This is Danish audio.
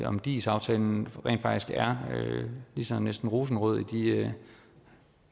om dis aftalen rent faktisk er lige så næsten rosenrød i de